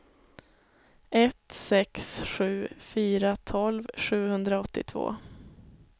ett sex sju fyra tolv sjuhundraåttiotvå